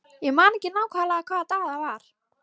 Ég man ekki nákvæmlega hvaða dag það var.